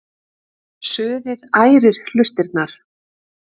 Suðið ærir hlustirnar.